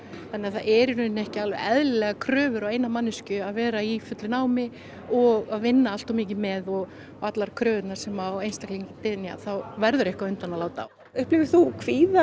þannig að það eru í rauninni ekki alveg eðlilegar kröfur á eina manneskju að vera í fullu námi og að vinna allt of mikið með og allar kröfurnar sem á einstakling dynja þá verður eitthvað undan að láta upplifir þú kvíða